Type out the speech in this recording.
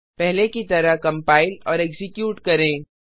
पहले की तरह कम्पाइल और एक्जीक्यूट करें